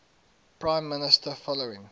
prime minister following